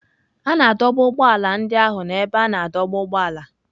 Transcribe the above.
A na-adọba ụgbọ ala ndị ahụ na ebe a na-adọba ụgbọala.